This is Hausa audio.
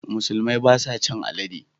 Musulmi ba sa cin alade.